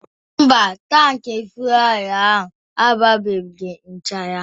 Mba, tankị fuelu ahu agbaghị nchara.